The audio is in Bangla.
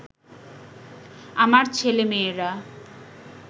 আমার ছেলেমেয়েরা